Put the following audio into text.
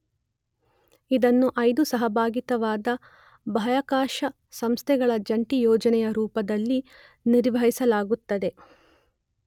ಇದನ್ನು ಐದು ಸಹಭಾಗಿತ್ವದ ಬಾಹ್ಯಾಕಾಶ ಸಂಸ್ಥೆಗಳ ಜಂಟಿ ಯೋಜನೆಯ ರೂಪದಲ್ಲಿ ನಿರ್ವಹಿಸಲಾಗುತ್ತದೆ.